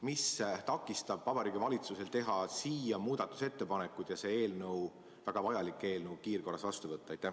Mis takistab Vabariigi Valitsusel teha siia muudatusettepanekuid ja see eelnõu, väga vajalik eelnõu, kiirkorras vastu võtta?